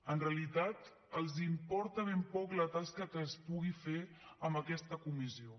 en realitat els importa ben poc la tasca que es pugui fer amb aquesta comissió